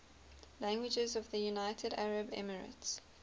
languages of the united arab emirates